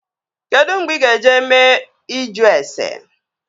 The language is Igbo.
Kedụ mgbe ị ga-eje mee ịjụ ase?